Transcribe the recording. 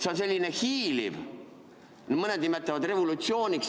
See on selline hiiliv, mõned nimetavad seda revolutsiooniks.